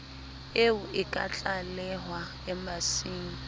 eo e ka tlalehwa embasing